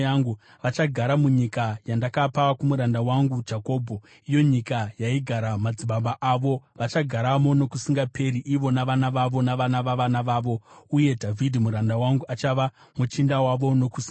Vachagara munyika yandakapa kumuranda wangu Jakobho, iyo nyika yaigara madzibaba avo. Vachagaramo nokusingaperi ivo navana vavo navana vavana vavo uye Dhavhidhi muranda wangu achava muchinda wavo nokusingaperi.